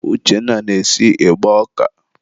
Uchenna na-esi ịgba ọka.